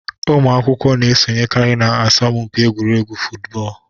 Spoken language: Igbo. Ụmụ akwụkwọ na esonyekari na asọmụ mpi egwuregwu futubọọlụ